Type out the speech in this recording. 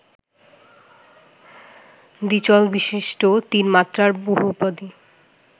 দ্বিচলবিশিষ্ট তিন মাত্রার বহুপদী